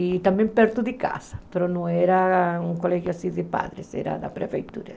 E também perto de casa, mas não era um colégio de padres, era da prefeitura.